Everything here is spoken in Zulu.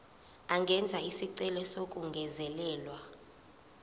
angenza isicelo sokungezelelwa